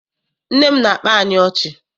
Nne m na-akpa anyị ọchị.